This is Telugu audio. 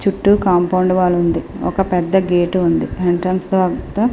చుట్టూ కాంపౌండ్ వాల్ ఉంది ఒక పెద్ధ గేటు ఉంది ఎంట్రన్స్ తర్వాత --